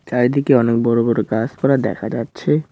চারিদিকে অনেক বড়ো বড়ো গাসপালা দেখা যাচ্ছে।